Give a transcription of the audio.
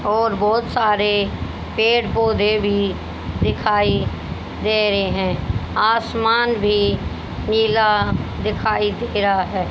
और बहोत सारे पेड़ पौधे भी दिखाई दे रहे है आसमान भी नीला दिखाई दे रहा है।